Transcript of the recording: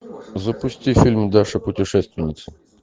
запусти фильм даша путешественница